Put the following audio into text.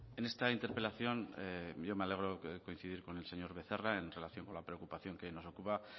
en esta interpelación yo me alegro coincidir con el señor becerra en relación con la preocupación que hoy nos ocupa